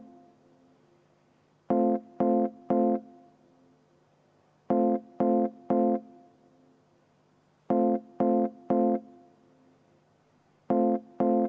Palun!